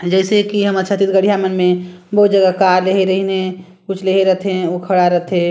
जइसे की हमर छत्तीसगढ़िया मन में बहुत जगा कार लेहे रहिन हे कुछ लेहे रथे ओ खड़ा रथे--